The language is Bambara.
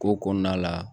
Ko kɔnɔna la